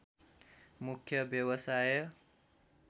मुख्य व्यवसाय